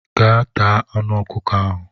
Gaa taa anụ ọkụkọ ahụ!